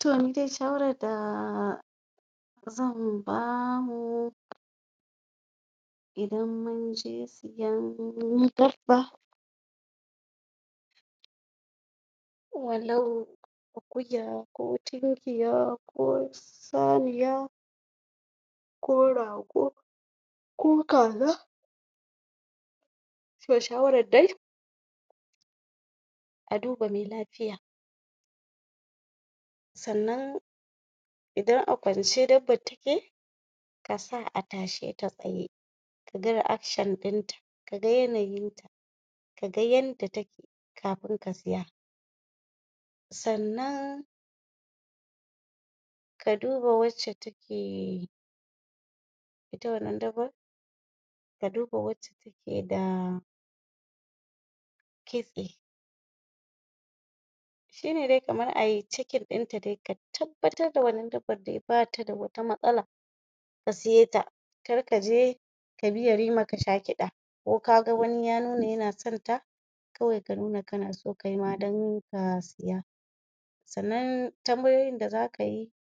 to nidai shawarar da zan bamu idan munje siyan dabba walau akuya ko tinkiya ko shanuwa ko rago ko kaza to shawarar dai a duba me lafiya sannan idan a kwance dabbar take kasa a tasheta tsaye kaga reacshan din ta kaga yanayin ta kaga yanda take kafin kasiya sannan ka duba wacce take ita wannan dabbar ka duba wacce take da kitsi shine dai kamar ayi chackin ɗinta dai ka tabbatar da wannan dabbar dai bata da wata matsala ka siye ta karka je kabi yarima kasha kiɗa ko kaga wani ya nuna yana santa kawai ka nuna kanaso kaima dan ka siya sannan tanbayoyin da zakayi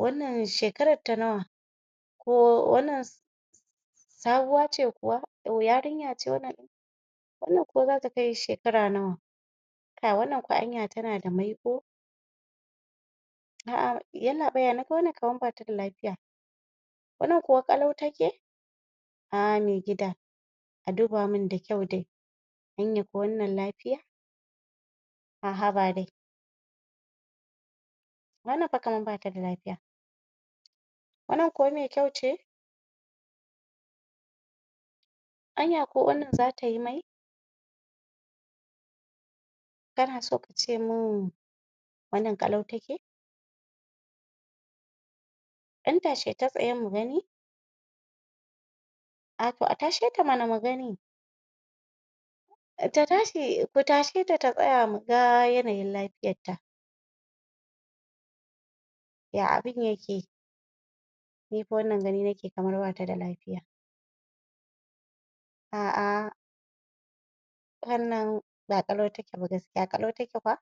wannan shekararta nawa ko wannan sabuwa ce kuwa yarinya ce wannan wannan kuwa zata kai shekara nawa wannan kuwa anya tana da maiƙo a'a yallaɓa yana ga wannan kamar bata da lafiya wannan kuwa ƙalau take a'a me gida a dubamin da kyau dai anya kwa wannan lafiya a haba dai wannan fa kamar bata da lafiya wannan kuwa me kyau ce anya kuwa wannan zatayi mai kanaso kacemin wannan kalau take dan tasheta tsaye mugani a to a tasheta mana mugani ta tashi ku tasheta ta tsaya muga yanayin lafiyarta yatta ya abun yake nifa wannan gani nake kamar bada lafiya a'a wannan ba ƙalau take ba gaskiya ƙalau take kuwa